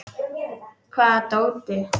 Hvaða dóti?